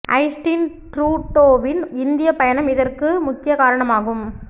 Justin ட்ரூடோவின் இந்திய பயணம் இதற்கு முக்கிய காரணம் ஆகும்